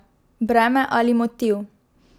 Breme ali motiv?